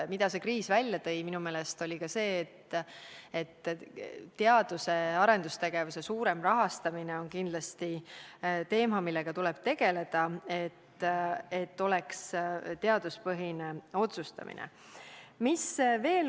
Minu meelest tõi kriis välja selle, et teadus- ja arendustegevuse suurem rahastamine on kindlasti teema, millega tuleb tegeleda, et otsustamine oleks teaduspõhine.